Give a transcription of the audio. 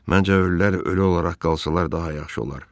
Məncə, ölülər ölü olaraq qalsalar daha yaxşı olar.